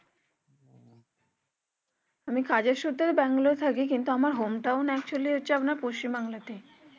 আমি কাজের সূত্রে ব্যাঙ্গালোর এ থাকি কিন্তু আমার home town হচ্ছে পশ্চিম বাংলাতেই